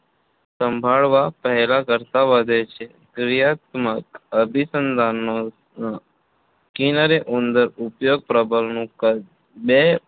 સંભાળવા પહેલાં કરતાં વધે છે ક્રિયાત્મક અભિસંધાનનો Skinner એ ઉંદર ઉપર પ્રબલનનું કદ બે